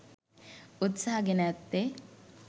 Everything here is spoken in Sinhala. උත්සාහ ගෙන ඇත්තේ